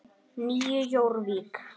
Nýju Jórvík.